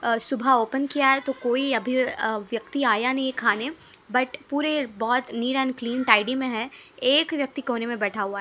अ सुबाहा ओपन किया है तो कोई अभी व्यक्ति आया नहीं खाने बट पुरे बोहोत लीन एंड क्लीन में है एक व्यक्ति कोनेमे बैठा हुआ है।